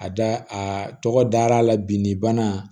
A da a tɔgɔ dar'a la bi ni bana